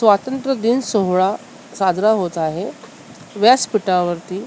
स्वातंत्र्यदिन सोहळा साजरा होत आहे व्यासपिठावरती--